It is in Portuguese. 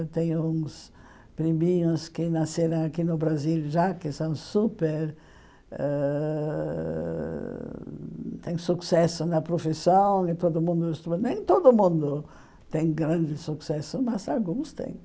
Eu tenho uns priminhos que nasceram aqui no Brasil já, que são super ãh... têm sucesso na profissão e todo mundo... Nem todo mundo tem grande sucesso, mas alguns têm.